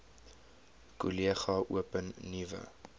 kollege open nuwe